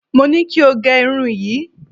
Mo ní kí o gẹ irun yìí.